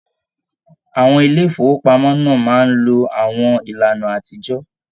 Àwọn ilé ifowopamọ náà máa n ló àwọn ìlànà àtijọ.